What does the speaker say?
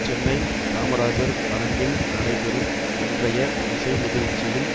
சென்னை காமராஜர் அரங்கில் நடைபெறும் இன்றைய இசை நிகழ்ச்சியில்